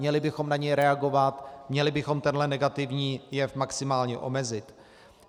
Měli bychom na něj reagovat, měli bychom tenhle negativní jev maximálně omezit.